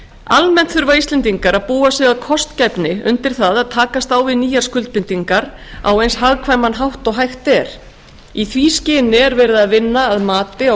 almennt þurfa íslendingar að búa sig af kostgæfni undir það að takast á við nýjar skuldbindingar á eins hagkvæman hátt og hægt er í því skyni er verið að vinna að mati á